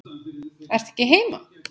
Ertu ekki heima?